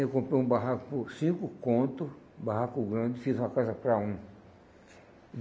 Eu comprei um barraco por cinco conto, barraco grande, fiz uma casa para um.